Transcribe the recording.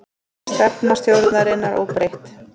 Stefna stjórnarinnar óbreytt